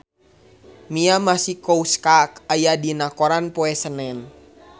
Mia Masikowska aya dina koran poe Senen